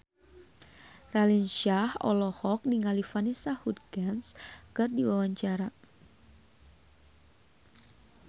Raline Shah olohok ningali Vanessa Hudgens keur diwawancara